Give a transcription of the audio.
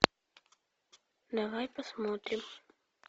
давай посмотрим